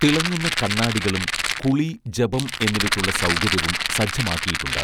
തിളങ്ങുന്ന കണ്ണാടികളും കുളി ജപം എന്നിവയ്ക്കുള്ള സൗകര്യവും സജ്ജമാക്കിയിട്ടുണ്ട്